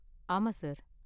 ஆமா சார்.